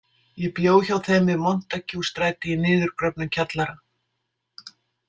Ég bjó hjá þeim við Montague- stræti í niðurgröfnum kjallara.